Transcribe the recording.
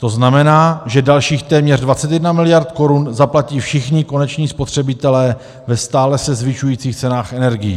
To znamená, že dalších téměř 21 mld. korun zaplatí všichni koneční spotřebitelé ve stále se zvyšujících cenách energií.